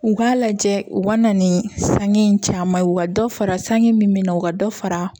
U k'a lajɛ u ka na ni sange caman ye ka dɔ fara san sange min bɛ na u ka dɔ fara